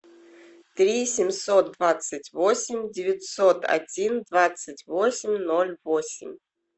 три семьсот двадцать восемь девятьсот один двадцать восемь ноль восемь